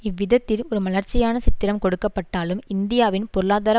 இவ்விதத்தில் ஒரு மலர்ச்சியான சித்திரம் கொடுக்கப்பட்டாலும் இந்தியாவின் பொருளாதார